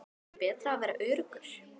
Er ekki betra að vera öruggur?